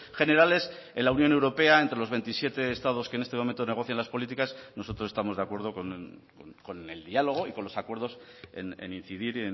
generales en la unión europea entre los veintisiete estados que en este momento negocian las políticas nosotros estamos de acuerdo con el diálogo y con los acuerdos en incidir